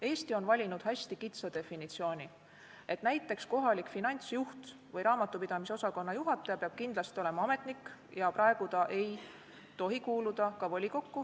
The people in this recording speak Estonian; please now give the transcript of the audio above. Eesti on valinud hästi kitsa definitsiooni, et näiteks kohalik finantsjuht või raamatupidamisosakonna juhataja peab kindlasti olema ametnik, praegu ta ei tohi kuuluda ka volikokku.